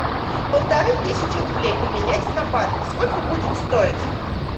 полторы тысячи рублей поменять на бат сколько будет стоить